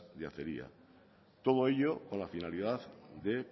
de acería todo ello con la finalidad de